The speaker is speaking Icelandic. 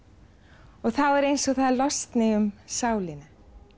og þá er eins og það losni um sálina